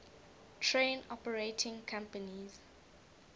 train operating companies